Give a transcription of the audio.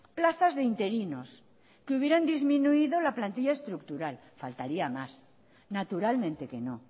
plazas de interinos que hubieran disminuido la plantilla estructural faltaría más naturalmente que no